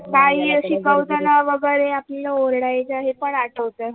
काही शिकवतांना वगरे आपल ओरडायच हे पण आठवत